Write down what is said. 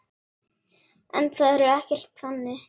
En það er ekkert þannig.